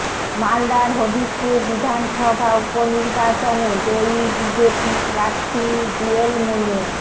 মালদার হবিবপুর বিধানসভা উপনির্বাচনে জয়ী বিজেপি প্রার্থী জুয়েল মুর্মু